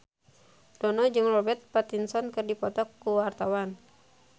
Dono jeung Robert Pattinson keur dipoto ku wartawan